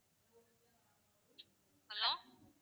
hello